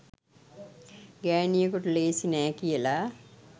ගෑනියෙකුට ලේසි නෑ කියලා.